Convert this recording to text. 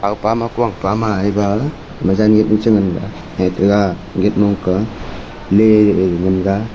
pama ku ang pama eba mija net ma changan ga lete ga gate man ka le mon ga.